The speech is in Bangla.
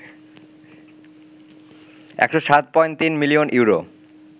১০৭.৩ মিলিয়ন ইউরো